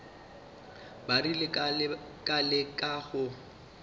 ba rile ka leka go